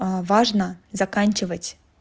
а важно заканчивать